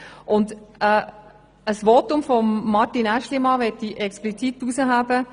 Ein Votum von Grossrat Aeschlimann möchte ich explizit hervorheben.